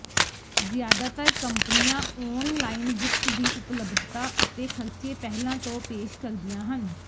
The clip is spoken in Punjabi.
ਜ਼ਿਆਦਾਤਰ ਕੰਪਨੀਆਂ ਔਨਲਾਈਨ ਬੁੱਕਸ ਦੀ ਉਪਲਬਧਤਾ ਅਤੇ ਖਰਚੇ ਪਹਿਲਾਂ ਤੋਂ ਪੇਸ਼ ਕਰਦੀਆਂ ਹਨ